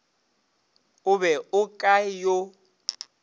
o be o ka yo